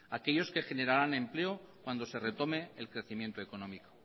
aquellos que generarán empleo cuando se retome el crecimiento económico